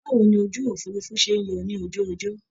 Báwo ni ojú òfuurufú ṣe ń yọ ní ojú ọjọ́?